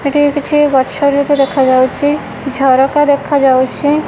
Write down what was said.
ଏଠି କିଛି ଗଛ ଦେଖା ଯାଉଚି ଝରକା ଦେଖା ଯାଉଚି।